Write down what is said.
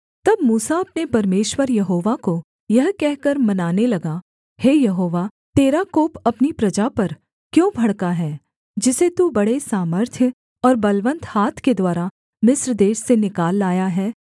तब मूसा अपने परमेश्वर यहोवा को यह कहकर मनाने लगा हे यहोवा तेरा कोप अपनी प्रजा पर क्यों भड़का है जिसे तू बड़े सामर्थ्य और बलवन्त हाथ के द्वारा मिस्र देश से निकाल लाया है